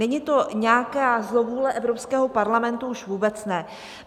Není to nějaká zlovůle, Evropského parlamentu už vůbec ne.